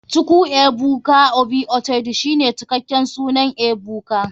chukwuebuka obi uchedu shine cikaken sunan ebuka.